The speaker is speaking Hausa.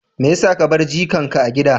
Me ya sa ka bar jikanka a gida?